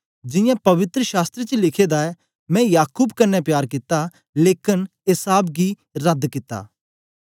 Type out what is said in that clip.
जियां पवित्र शास्त्र च लिखे दा ऐ मैं याकूब कन्ने प्यार कित्ता लेकन एसाव गी रद्द कित्ता